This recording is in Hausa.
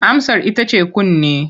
Amsar ita ce kunne.